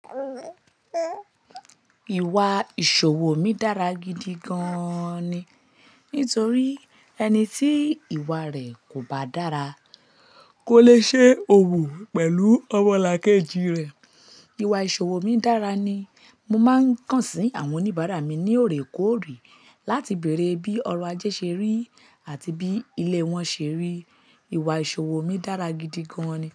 Ìwà ìṣòwò mi dára gidi gan ni. Nítorí ẹni tí ìwà rẹ̀ kò bá dára, kò le ṣe òwò pẹ̀lú ọmọlàkejì rẹ̀. Ìwà ìṣòwò mi dára ni. Mo máa ń kàn sí àwọn oníbàárà mi ní òrèkóòrè láti bèrè bí ọrọ̀ ajé ṣe rí àti bí ilẹ̀ wọn ṣe rí. Ìwà ìṣòwò mi dára gidi gan ni.